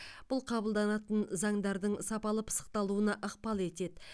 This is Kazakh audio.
бұл қабылданатын заңдардың сапалы пысықталуына ықпал етеді